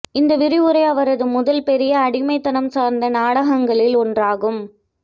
இந்த விரிவுரை அவரது முதல் பெரிய அடிமைத்தனம் சார்ந்த நாடகங்களில் ஒன்றாகும்